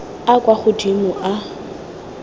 a a kwa godimo a